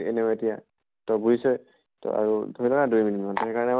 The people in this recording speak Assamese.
এনেও এতিয়া তই বুজিছʼই আৰু ধৰি থাক না দুই minute মান সেইকাৰণে